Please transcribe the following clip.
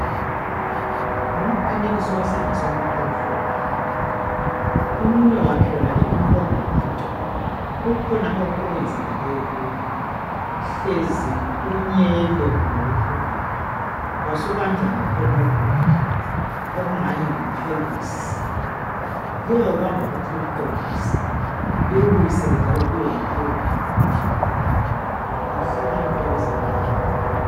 Ngumfanekiso wesandla somuntu omhlophe umunwe wakhe wonalo inkombabantu kukhona okwenzakaleyo kuwo hlezi unyele kumbe wephukile wasubanjwa ngakhonoku okungani yipekisi kuyawubamba futhi kuwuqondise liwubuyisele njalo kube ngumunwe ophilileyo, yikuhlakanipha kwabezempilakahle.